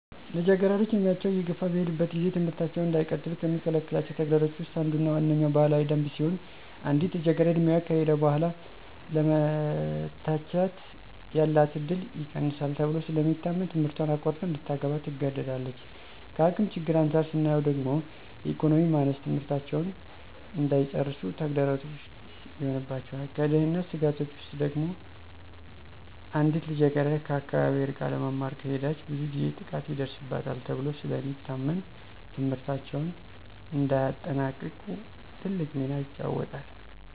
ልጃገረዶች ዕድሜያቸው እየገፋ በሚሄድበት ጊዜ ትምህርታቸውን እንዳይቀጥሉ ከሚከለክሏቸው ተግዳሮቶች ውስጥ አንዱና ዋነኛዉ ባህላዊ ደንብ ሲሆን አንዲት ልጃገረድ ዕድሜዋ ከሄደ በኃላ ለመታጨት ያላት እድል ይቀንሳል ተብሎ ስለሚታመን ትምህረቷን አቋርጣ እንድታገባ ትገደዳለች። ከአቅም ችግር አንፃር ስናየው ደግሞ የኢኮኖሚ ማነስ ትምህርታቸውን እንዳይጨርሱ ተግዳሮት ይሆንባቸዋል። ከደህንነት ስጋቶች ውስጥ ደግሞ አንዲት ልጃገረድ ከአካባቢዋ ርቃ ለመማር ከሄደች ብዙ ጊዜ ጥቃት ይደርስባታል ተብሎ ስለሚታመን ትምህርታቸውን እንዳያጠናቅቁ ትልቅ ሚና ይጫወታል።